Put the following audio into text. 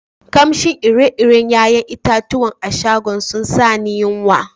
Kamshin ire-ire yayan itatuwan a'shagon sun sa ni yunwa.